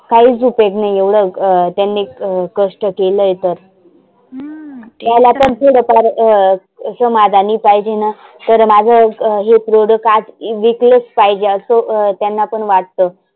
काहीच उपेग नाही एवढ त्यांनी अं कष्ट केलं आहे तर. त्याला तर थोडफार अं समाधानी पाहिजेना तर माझ हे product आज विकलच पाहीजे असं त्यांना पण वाटतं.